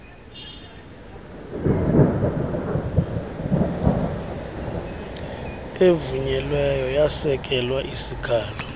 evunyelweyo yesekela sihalo